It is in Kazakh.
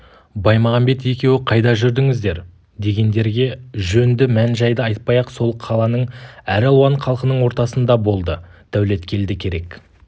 баймағамбет екеуі қайда жүрдіңіздер дегендерге жөнді мән-жайды айтпай-ақ сол қаланың әралуан халқының ортасында болды дәулеткелді керек